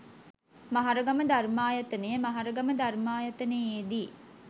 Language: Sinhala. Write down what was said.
මහරගම ධර්මායතනය මහරගම ධර්මායතනයේ දී